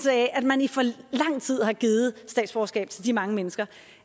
af at man i for lang tid har givet statsborgerskab til de mange mennesker